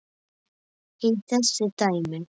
í þessu dæmi.